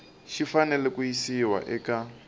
xi fanele ku yisiwa eka